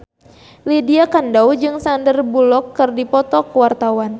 Lydia Kandou jeung Sandar Bullock keur dipoto ku wartawan